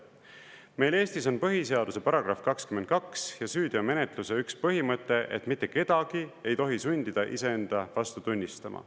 "Meil Eestis on põhiseaduse § 22 ja süüteomenetluse üks põhimõte, et mitte kedagi ei tohi sundida iseenda vastu tunnistama.